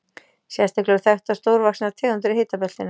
Sérstaklega eru þekktar stórvaxnar tegundir í hitabeltinu.